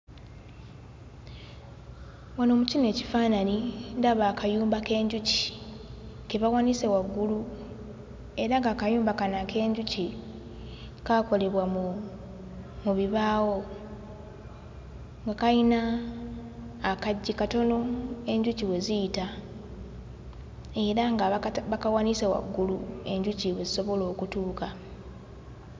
Wano mu kino ekifaananyi ndaba akayumba k'enjuki ke bawanise waggulu era ng'akayumba kano ak'enjuki kaakolebwa mu mu bibaawo nga kayina akaggi katono enjuki we ziyita era nga bakata bakawanise waggulu enjuki we zisobola okutuuka.